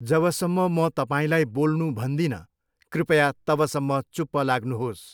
जबसम्म म तपाईँलाई बोल्नु भन्दिनँ, कृपया तबसम्म चुप लाग्नुहोस्।